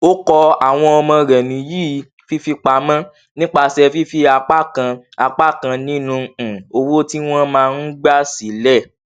ó kọ àwọn ọmọ rẹ níyì fífipamọ nípasẹ fífi apá kan apá kan ninu um owó tí wọn máa ń gba sílẹ